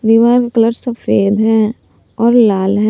दीवार कलर सफेद है और लाल है।